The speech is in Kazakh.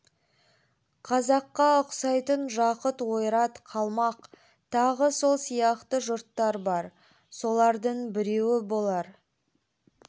қазаққа ұқсайтын жақұт ойрат қалмақ тағы сол сияқты жұрттар бар солардың біреуі болар